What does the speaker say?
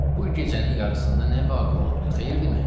Bu gecənin yarısında nə vaqi olubdur, xeyir dimi?